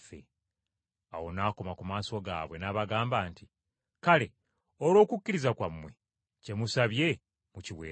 Awo n’akoma ku maaso gaabwe n’abagamba nti, “Kale, olw’okukkiriza kwammwe, kye musabye mukiweereddwa.”